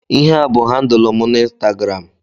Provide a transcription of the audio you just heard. Ihea bụ handụl mụ na Ịnstagram